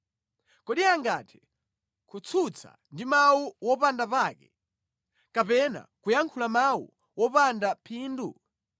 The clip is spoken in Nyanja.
Kodi angathe kutsutsa ndi mawu opanda pake, kapena kuyankhula mawu opanda phindu?